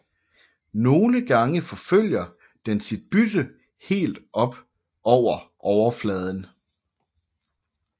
Nogle gange forfølger den sit bytte helt op over overfladen